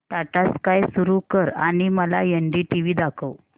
Tata sky सुरू कर आणि मला एनडीटीव्ही दाखव